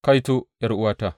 Kaito, ’yar’uwata!’